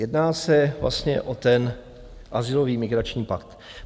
Jedná se vlastně o ten azylový migrační pakt.